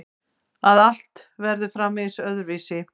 Að allt verður framvegis öðruvísi.